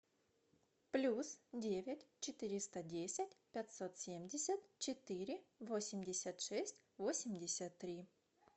плюс девять четыреста десять пятьсот семьдесят четыре восемьдесят шесть восемьдесят три